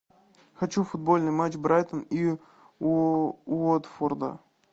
хочу футбольный матч брайтон и уотфорда